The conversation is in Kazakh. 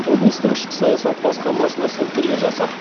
облыстық ішкі саясат басқармасына сілтеме жасап